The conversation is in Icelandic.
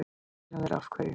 Erlendur: Af hverju?